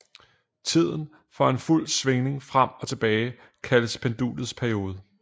Tiden for en fuld svingning frem og tilbage kaldes pendulets periode